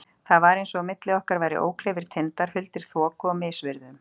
Það var eins og á milli okkar væru ókleifir tindar, huldir þoku og misviðrum.